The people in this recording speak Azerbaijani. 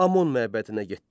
Amon məbədinə getdi.